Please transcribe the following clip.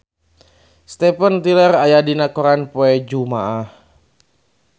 Steven Tyler aya dina koran poe Jumaah